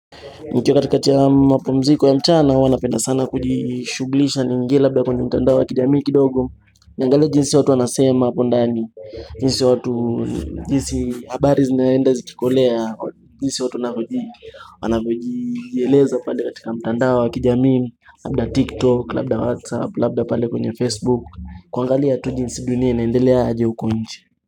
Nikiwa katikati ya mapumziko ya mchana huwa napenda sana kujishughulisha niingie labda kwenye mitandao wa kijamii kidogo Niangalie jinsi watu wanasema hapo ndani jinsi habari zinaenda zikikolea jinsi watu wanavyojieleza pale katika mtandao wa kijamii Labda tiktok, labda whatsapp, labda pale kwenye facebook, kuangalia tu jinsi dunia inaendelea aje huko nje.